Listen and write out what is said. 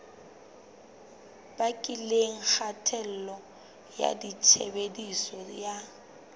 bakileng kgatello ya tshebediso ya